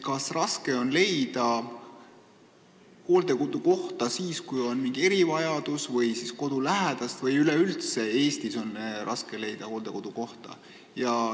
Kas raske on leida hooldekodukohta siis, kui on mingi erivajadus, või kodulähedast kohta või on üleüldse Eestis raske hooldekodukohta leida?